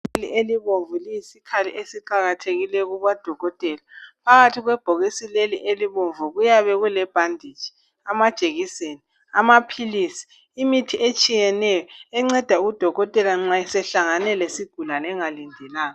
Ibhokisi elibomvu liyisikhali esiqakathekileyo kubodokotela. Phakathi kwebhokisi leli elibomvu kuyabe kulebhanditshi, amajekiseni, amaphilisi, imithi etshiyeneyo enceda udokotela nxa esehlangene lesigulane engalindelanga.